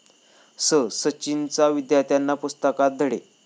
स...'सचिनचा, विद्यार्थ्यांना पुस्तकात धडे